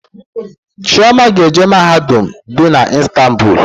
Chioma ga-eje mahadum dị na Istanbul